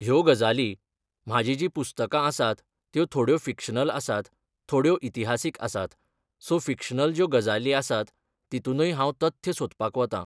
ह्यो गजाली म्हाजी जी पुस्तकां आसात त्यो थोड्यो फिक्शनल आसात थोड्यो इतिहासीक आसात सो फिक्शनल ज्यो गजाली आसात तितुनूय हांव तथ्य सोदपाक वतां.